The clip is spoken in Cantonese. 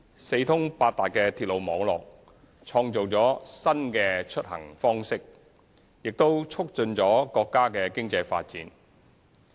四通八達的鐵路網絡創造了新的出行方式，亦促進了國家的經濟發展。